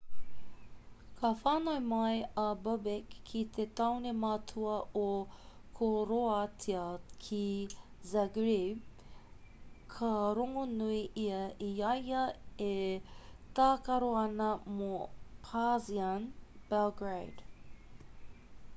ka whānau mai a bobek ki te tāone matua o koroātia ki zagreb ka rongonui ia i a ia e tākaro ana mō partizan belgrade